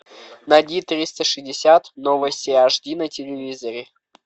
найди триста шестьдесят новости аш ди на телевизоре